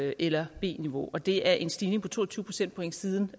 a eller b niveau og det er en stigning på to og tyve procentpoint siden